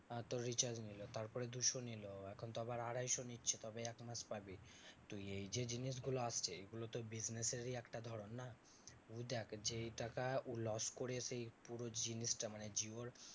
আহ তোর recharge নিলো তারপরে দুশো নিলো এখন তো আবার আড়াইশো নিচ্ছে তবে একমাস পাবি তুই। এই যে জিনিসগুলো আসছে, এইগুলো তো business এরই একটা ধরণ না? তুই দেখ যেই টাকা ও loss করে সেই পুরো জিনিসটা মানে জিওর